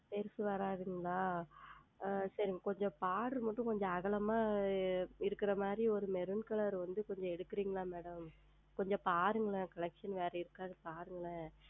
பெரியது வராதுங்களா ஆஹ் சரிங்கள் கொஞ்சம் Border மட்டும் கொஞ்சம் அகலமாக இருக்குறது மாதிறி ஓர் Maroon Color வந்து கொஞ்சம் எடுக்கறீர்களா Madam கொஞ்சம் பாருங்களேன் Collection வேறு இருக்கிறதா கொஞ்சம் பார்க்கிறீர்களா